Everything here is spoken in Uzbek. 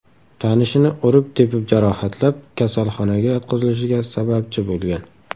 tanishini urib-tepib jarohatlab, kasalxonaga yotqizilishiga sababchi bo‘lgan.